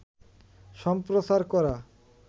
সম্প্রচার করা